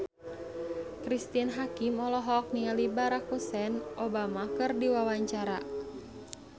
Cristine Hakim olohok ningali Barack Hussein Obama keur diwawancara